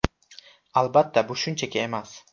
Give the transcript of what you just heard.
Albatta, bu shunchaki emas.